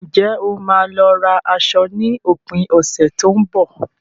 Ǹjẹ́ o máa lọ ra aṣọ ní òpin ọ̀sẹ̀ tó ń bọ̀?